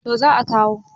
to za a kawo